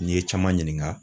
N'i ye caman ɲininga